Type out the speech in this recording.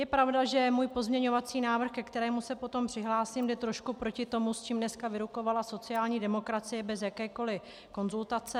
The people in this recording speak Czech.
Je pravda, že můj pozměňovací návrh, ke kterému se potom přihlásím, jde trošku proti tomu, s čím dneska vyrukovala sociální demokracie bez jakékoli konzultace.